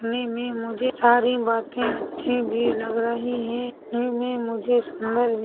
ने मे मुझे सारी बाते अच्छी भी लग रही है ने मे मुझे सुंदर भी--